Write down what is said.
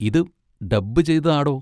ഇത് ഡബ്ബ് ചെയ്തത് ആടോ.